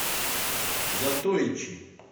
затойчи